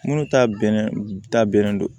Minnu ta bɛnnen ta bɛnnen don